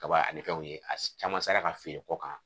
Kaba ani fɛnw ye a caman sera ka feere kɔ kan